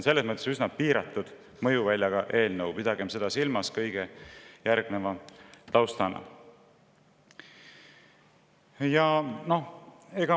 Seega on see üsna piiratud mõjuväljaga eelnõu, pidagem seda kõige järgneva taustal meeles.